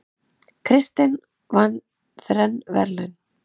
Kristinn með þrenn verðlaun